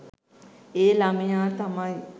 ඒ ළමයා තමයි